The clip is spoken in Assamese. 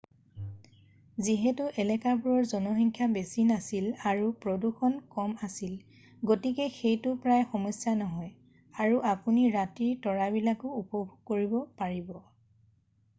যিহেতু এলেকাবোৰৰ জনসংখ্যা বেছি নাছিল আৰু প্ৰদূষণ কম আছিল গতিকে সেইটো প্ৰায় সমস্যা নহয় আৰু আপুনি ৰাতিৰ তৰাবিলাকো উপভোগ কৰিব পাৰিব